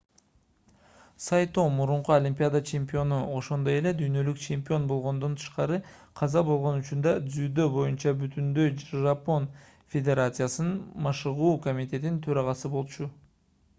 сайто мурунку олимпиада чемпиону ошондой эле дүйнөлүк чемпион болгондон тышкары каза болгон учурда дзюдо боюнча бүтүндөй жапон федерациясынын машыгуу комитетинин төрагасы болчу